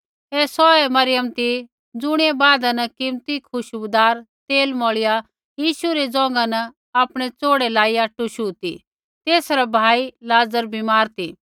ऐ सौहै मरियम ती ज़ुणियै बादा न कीमती खुशबूदार तेल मौल़िया यीशु रै ज़ौघा न आपणै चौड़े लाईया टुशु ती तेसा रा भाई लाज़र बीमार ती